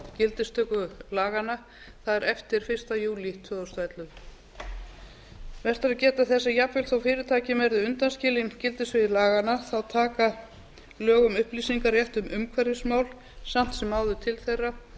gildistöku laganna það er eftir fyrsta júlí tvö þúsund og ellefu vert er að geta þess að jafnvel þó fyrirtæki verði undanskilin gildissviði laganna taka lög um upplýsingarétt um umhverfismál samt sem áður til þeirra